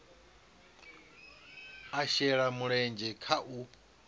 a shele mulenzhe kha u